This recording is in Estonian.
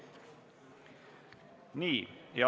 Nii.